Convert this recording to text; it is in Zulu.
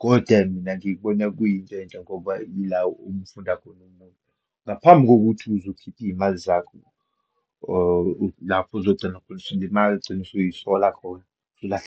Kodwa mina ngikubona kuyinto enhle ngoba ila umfunda khona umuntu, ngaphambi kokuthi uzukhiphe iyimali zakho, or lapho ozogcina, ugcina usuyisola khona, ulahle.